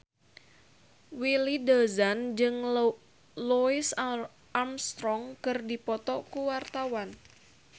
Willy Dozan jeung Louis Armstrong keur dipoto ku wartawan